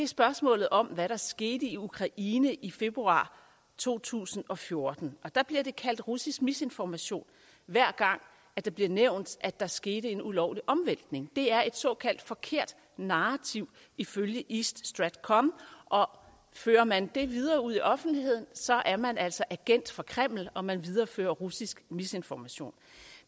spørgsmålet om hvad der skete i ukraine i februar to tusind og fjorten og der bliver det kaldt russisk misinformation hver gang det bliver nævnt at der er sket en ulovlig omvæltning det er et såkaldt forkert narrativ ifølge east stratcom og fører man det videre ud i offentligheden så er man altså agent for kreml og man viderefører russisk misinformation